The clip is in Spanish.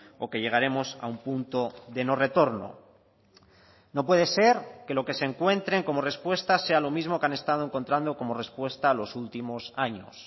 o que llegaremos a un punto de no retorno no puede ser que lo que se encuentren como respuesta sea lo mismo que han estado encontrando como respuesta a los últimos años